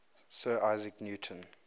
sir isaac newton